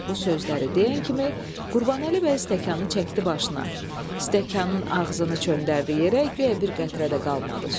Bu sözləri deyən kimi Qurbanəli bəy stəkanı çəkdi başına, stəkanın ağzını çöndərdi yerə, guya bir qətrə də qalmadı.